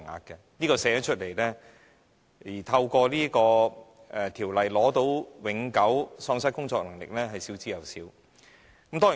這點雖然列明出來，但透過《條例》獲得永久喪失工作能力的補償的人是少之有少。